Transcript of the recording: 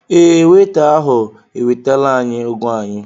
Ee, weita ahụ ewetala ányị́ ụ́gwọ́ anyị́